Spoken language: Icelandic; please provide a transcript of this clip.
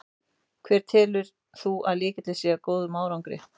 Hver telur þú að sé lykillinn að þeim góða árangri?